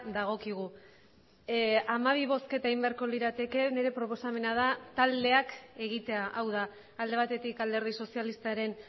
dagokigu hamabi bozketa egin beharko lirateke nire proposamena da taldeak egitea hau da alde batetik alderdi sozialistaren